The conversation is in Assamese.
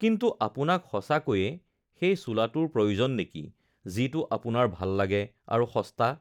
কিন্তু আপোনাক সঁচাকৈয়ে সেই চোলাটোৰ প্ৰয়োজন নেকি যিটো আপোনাৰ ভাল লাগে আৰু সস্তা?